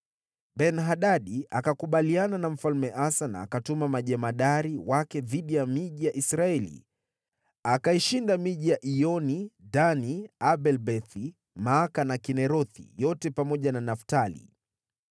Ben-Hadadi akakubaliana na Mfalme Asa na kutuma majemadari wa majeshi yake dhidi ya miji ya Israeli. Akaishinda miji ya Iyoni, Dani, Abel-Beth-Maaka na Kinerethi yote, pamoja na Naftali.